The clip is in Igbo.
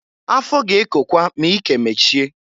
Afọ ga-ekokwa ma ike mechie.